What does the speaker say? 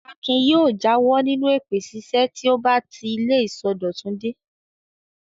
Akin yóò jáwọ́ nínú èpè ṣíṣẹ́ tí ó bá ti ilé ìsọdọ̀tun dé.